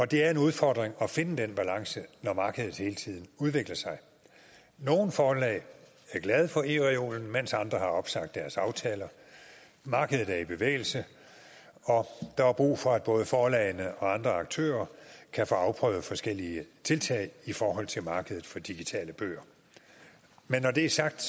det er en udfordring at finde den balance når markedet hele tiden udvikler sig nogle forlag er glade for ereolen mens andre har opsagt deres aftaler markedet er i bevægelse og der er brug for at både forlagene og andre aktører kan få afprøvet forskellige tiltag i forhold til markedet for digitale bøger men når det er sagt